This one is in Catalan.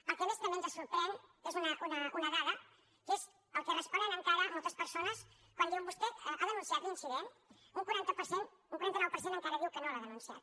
el que més també ens sorprèn és una dada que és el que responen encara moltes persones quan diuen vostè ha denunciat l’incident un quaranta nou per cent encara diu que no l’ha denunciat